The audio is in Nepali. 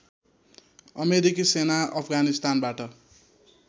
अमेरिकी सेना अफगानिस्तानबाट